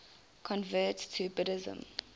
converts to buddhism